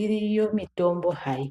Iriyo mitombo hayi